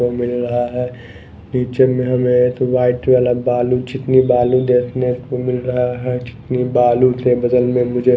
वो मिल रहा है नीचे में हमें एत व्हाइट वाला बालू चिकनी बालू देखने को मिल रहा है चिकनी बालू ते बदल में मुझे --